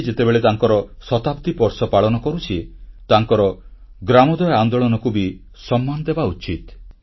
ଆଜି ଯେତେବେଳେ ତାଙ୍କର ଶତାବ୍ଦୀ ବର୍ଷ ପାଳନ କରୁଛେ ତାଙ୍କର ଗ୍ରାମୋଦୟ ଆନ୍ଦୋଳନକୁ ବି ସମ୍ମାନ ଦେବା ଉଚିତ